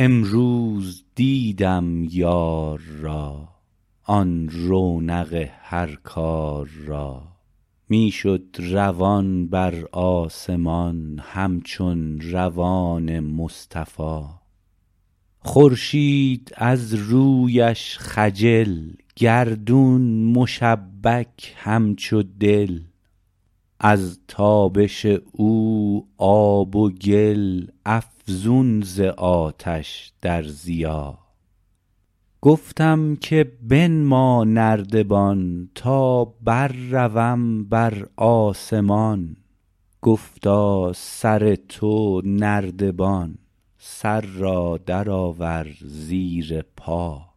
امروز دیدم یار را آن رونق هر کار را می شد روان بر آسمان همچون روان مصطفا خورشید از رویش خجل گردون مشبک همچو دل از تابش او آب و گل افزون ز آتش در ضیا گفتم که بنما نردبان تا برروم بر آسمان گفتا سر تو نردبان سر را درآور زیر پا